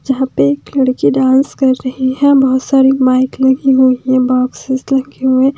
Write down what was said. यहाँ पे एक लड़की डांस कर रही है बहुत सारी माइक लगी हुई है बॉक्सेस रखे हुए--